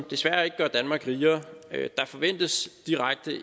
desværre ikke gør danmark rigere der forventes